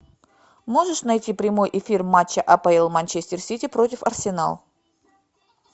можешь найти прямой эфир матча апл манчестер сити против арсенал